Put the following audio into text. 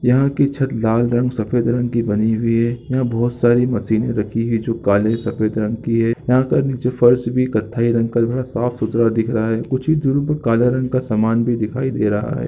यहाँ की छत लाल रंग सफ़ेद रंग की बनी हुई है यहाँ बहोत सारी मशीनें रखी है जो काले सफेद रंग की है यहाँ पर नीचे फर्श भी कत्थई रंग का तथा साफ-सुथरा दिख रहा है कुछ ही दुरी पर काला रंग का सामान भी दिखाई दे रहा है।